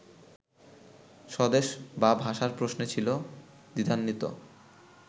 স্বদেশ বা ভাষার প্রশ্নে ছিল দ্বিধান্বিত